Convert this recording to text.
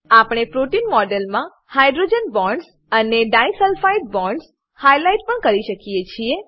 આપણે પ્રોટીન મોડેલમા hydrogen bonds અને di સલ્પફાઇડ બોન્ડ્સ હાઈલાઈટ પણ કરી શકીએ છીએ